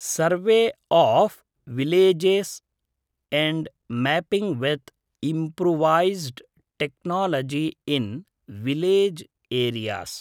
सर्वे of villages and mapping with improvised technology in village areas